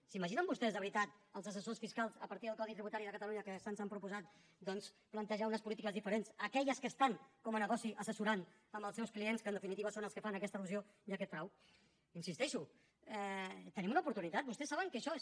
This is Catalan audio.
s’imaginen vostès de veritat que els assessors fiscals a partir del codi tributari de catalunya que se’ns han proposat doncs plantejaran unes polítiques diferents d’aquelles que estan com a negoci assessorant als seus clients que en definitiva són els que fan aquesta elusió i aquest frau hi insisteixo tenim una oportunitat vostès saben que això és